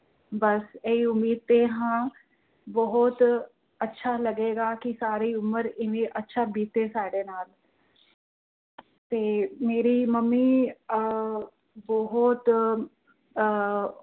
ਬੱਸ ਇਹੀ ਉਮੀਦ ਤੇ ਹਾਂ। ਬਹੁਤ ਅੱਛਾ ਲੱਗੇਗਾ ਕਿ ਸਾਰੀ ਉਮਰ ਅੱਛਾ ਬੀਤੇ ਸਾਡੇ ਨਾਲ ਤੇ ਮੇਰੀ ਮੰਮੀ ਆਹ ਬਹੁਤ ਆਹ